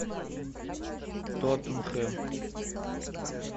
тоттенхэм